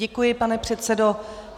Děkuji, pane předsedo.